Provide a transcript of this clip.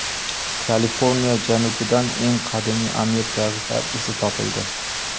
Kaliforniya janubidan eng qadimiy amerikaliklar izi topildi.